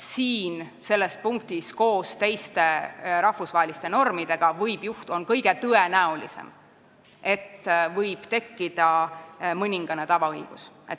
Nii et koos teiste rahvusvaheliste normidega on selles punktis kõige tõenäolisem see, et võib tekkida mõningane tavaõigus.